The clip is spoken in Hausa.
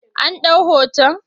An ɗau hoton?